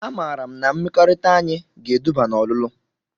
A maara m na mmekọrịta anyị ga-eduba na ọlụlụ.